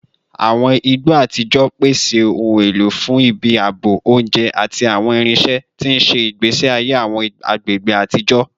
Awọn igbo ni igba atijọ pese awọn ohun elo fun ibi aabo, ounjẹ, ati awọn irinṣẹ, ti n ṣe igbesi aye awọn agbegbe atijọ